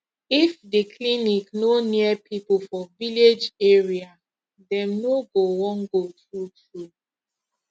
if the clinic no near people for village area dem no go wan go true true